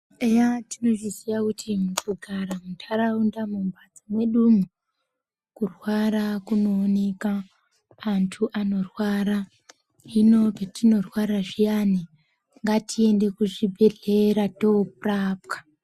Eya tinozviziya kuti kugara muntaraunda mumbatso mwedumwe kurwara kunooneka antu anorwara hino petinorwara zviyani ngatiendekuzvibhedhlera toorapwa